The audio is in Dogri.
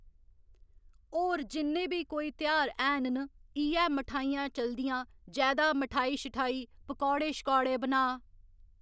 और जिन्ने बी कोई तेहार हैन न इ'यै मठाइयां चलदियां जैदा मठाई शठाई पकौड़े शकौड़े बना